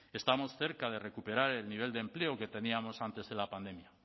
estamos cerca de recuperar el nivel de empleo que teníamos antes de la pandemia